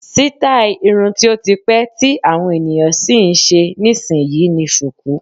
Sítáì irun tí ó ti pẹ́ tí àwọn ènìyàn sì ń ṣe nísìnyí ni Sùkú